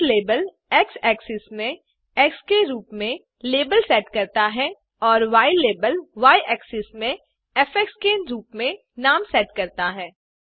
x label x axis में x के रूप में लेबल सेट करता हैं और य लाबेल y एक्सिस में फ़ के रूप में नाम सेट करता है